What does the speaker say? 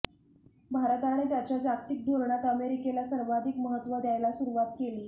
भारताने त्याच्या जागतिक धोरणात अमेरिकेला सर्वाधिक महत्त्व द्यायला सुरुवात केली